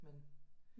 Men